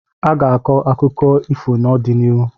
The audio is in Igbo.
Aga-akọ ọtụtụ akụkọ ifo n'ọdịnihu.